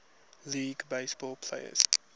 league baseball players